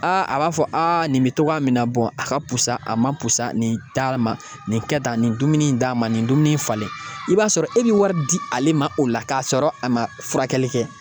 Aa a b'a fɔ aa nin bɛ togoya min na a ka pusa a ma pusa nin taa ma nin kɛ tan a nin dumuni in d'a ma nin dumuni in falen i b'a sɔrɔ e bɛ wari di ale ma o la k'a sɔrɔ a ma furakɛli kɛ